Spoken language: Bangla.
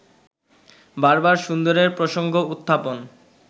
বারবার সুন্দরের প্রসঙ্গ-উত্থাপন